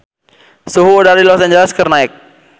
Suhu udara di Los Angeles keur naek